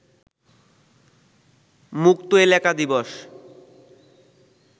মুক্ত এলাকা দিবস